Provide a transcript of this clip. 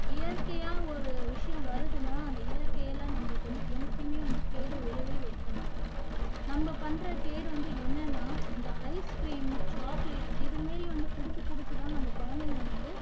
இயற்கையா ஒரு விஷயம் வருதுன்னா அது இயற்கையில நம்மளுக்கு வந்து என்னைக்குமே வந்து கேடு விளைவே வைக்காது நம்ம பண்ற கேடு வந்து என்னன்னா இந்த ice cream, chocolate இது மாதிரி வந்து கொடுத்து கொடுத்து தான் நம்ம குழந்தைங்களை வந்து